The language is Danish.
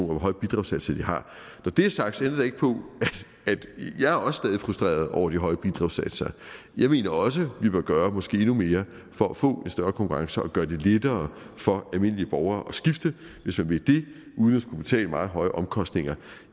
hvor høje bidragssatser de har når det er sagt ændrer det ikke på at jeg også stadig er frustreret over de høje bidragssatser jeg mener også vi bør gøre måske endnu mere for at få en større konkurrence og gøre det lettere for almindelige borgere at skifte hvis man vil det uden at skulle betale meget høje omkostninger